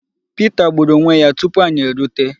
Pita gbùrù onwe ya tupu anyị erute.